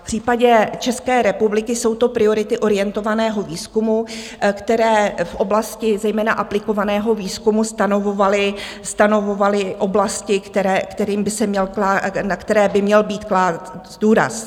V případě České republiky jsou to priority orientovaného výzkumu, které v oblasti zejména aplikovaného výzkumu stanovovaly oblasti, na které by měl být kladen důraz.